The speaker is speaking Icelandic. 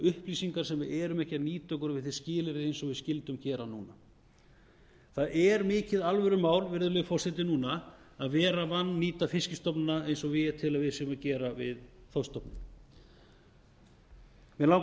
upplýsingar sem við erum ekki að nýta okkur við þau skilyrði eins og við skyldum gera núna það er mikið alvörumál virðulegi forseti núna að vera að vannýta fiskstofnana eins og ég tel að við séum að gera við þorskstofninn mig langar